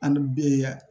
An ni be yan